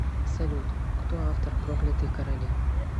салют кто автор проклятые короли